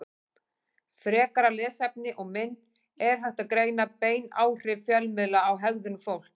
Frekara lesefni og mynd Er hægt að greina bein áhrif fjölmiðla á hegðun fólks?